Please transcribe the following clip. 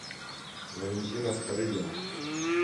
валентина старыгина